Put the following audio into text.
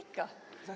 Ikka-ikka!